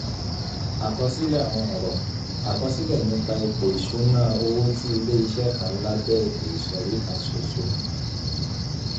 àkọsílẹ̀ àwọn ọ̀rọ̀: àkọsílẹ̀ nípa ipò ìṣúnná owó ti ilé-iṣẹ́ kan lábẹ́ ètò ìsọ̀rí kan ṣoṣo.